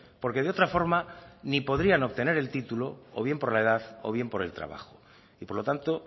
porque de otra forma ni podrían obtener el título o bien por la edad o bien por el trabajo y por lo tanto